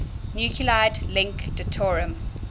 nuclide link deuterium